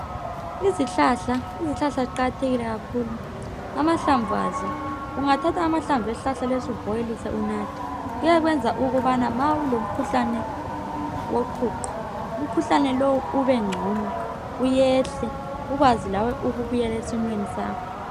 Izihlahla ziqakathekile kakhulu amahlamvu azo ungawathatha ubhoyilise unathe kwenza ukubana nxa ulomkhuhlane woqhuqho umkhuhlane lowu ubengcono uyehle ukwazi njalo ukubuyela esimweni bakho.